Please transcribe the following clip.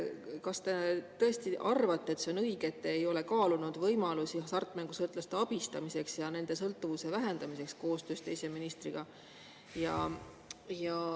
Kas te tõesti arvate, et see on õige, et te ei ole koostöös teise ministriga kaalunud võimalusi hasartmängusõltlaste abistamiseks ja nende sõltuvuse vähendamiseks?